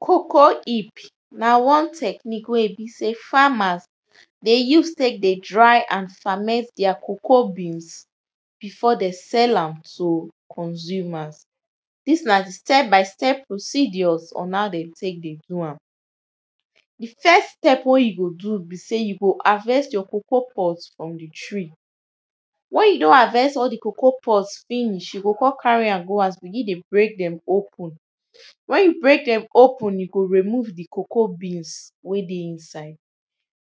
Cocoa heap na one technique wey be sey farmers dey use tek dey dry and ferment deir cocoa bean before dey sell am to consumers. Dis na di step by step procedures on how dey tek dey do am. Di first step wen you go do be sey, you go harvest your cocoa pods from di tree. Wen you don harvest all di cocoa pods finish, you go come carry dem go house begin dey break dem open, wen you break dem open you go remove di cocoa beans wen dey inside,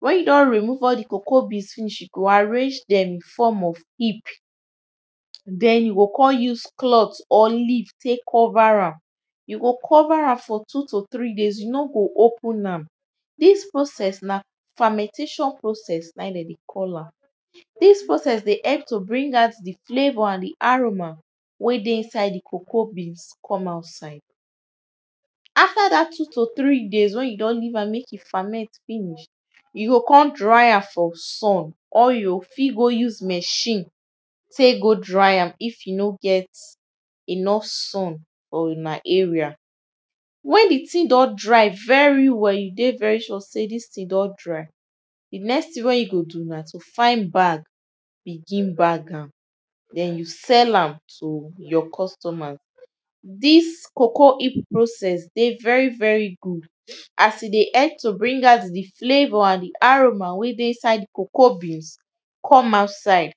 wen you don remove di cocoa beans finish you go arrange dem in form of heap ,den you go come use cloth or leave tek cover am. You go cover am for two to three day you no go open am. Dis process na fermentation process na e dem dey call am. Dis process dey help to bring out di flavour and di aroma wen dey inside di cocoa beans come outside. After dat two to three days wen you don leave am make e ferment finish, you go come dry am for sun or you go fit go use machine tek go dry am if you no get enough sun for una area. Wen di thing don dry very well, you dey very sure sey dis thing don dry, di next thing wey you go do na to find bag begin bag am. Den you sell am to your customers. Dis cocoa heap process dey very very good as e dey help to bring out di flavour and di aroma wen dey inside di cocoa beans come outside.